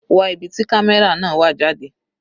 Wá ibi tí camera náà wà jáde.